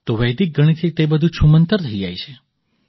તો વૈદિક ગણિતથી તે બધું છૂમંતર થઈ જાય છે